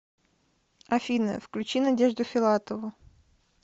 афина включи надежду филатову